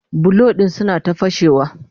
bulo ɗin suna ta fashewa